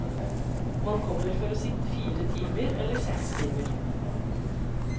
Man kommer for å sitte fire timer, eller seks timer.